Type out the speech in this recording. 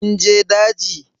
Kun je daji?